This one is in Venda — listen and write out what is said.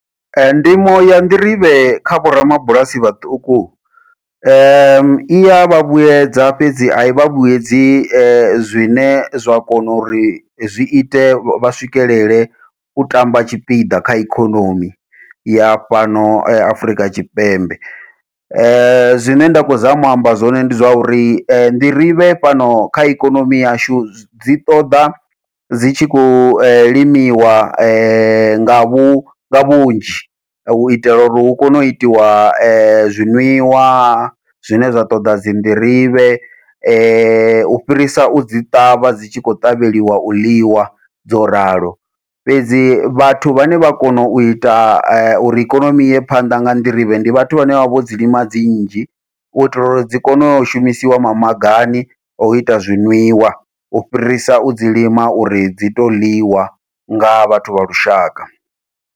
Ee ndimo ya nḓirivhe kha vho ramabulasi vhaṱuku, iya vha vhuyedza fhedzi ai vha vhuyedzi zwine zwa kona uri zwi ite vha swikelele u tamba tshipiḓa kha ikhonomi ya fhano Afrika Tshipembe, zwine nda khou zama u amba zwone ndi zwa uri nḓirivhe fhano kha ikonomi yashu dzi ṱoḓa dzi tshi khou limiwa nga vhu nga vhunzhi, uitela uri hu kone u itiwa zwiṅwiwa zwine zwa ṱoḓa dzi nḓirivhe, u fhirisa u dzi ṱavha dzi tshi kho ṱavheliwa u ḽiwa dzo ralo. Fhedzi vhathu vhane vha kona u ita uri ikonomi iye phanḓa nga nḓirivhe ndi vhathu vhane vha vha vho dzi lima dzi nnzhi, u itela uri dzi kone u shumisiwa mamagani o ita zwi ṅwiwa u fhirisa u dzi lima uri dzi to ḽiwa nga vhathu vha lushaka.